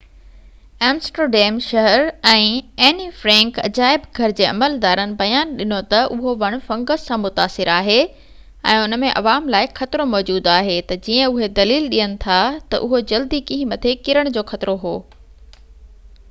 Amsterdam شهر ۽ Anne Frank عجائب گهر جي عملدارن بيان ڏنو تہ اهو وڻ فنگس سان متاثر آهي ۽ ان ۾ عوام لاءِ خطرو موجود آهي جيئن تہ اهي دليل ڏين ٿا تہ اهو جلدي ڪنهن مٿي ڪرڻ جو خطرو هو